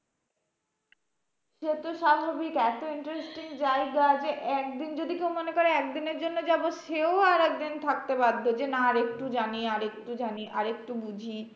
সেতো স্বাভাবিক এত interesting জায়গা যে একদিন যদি কেউ মনে করে একদিনের জন্য যাবো সেও আরেকদিন থাকতে পারবে যে, না আর একটু যানি আর একটু যানি আর একটু বুঝি।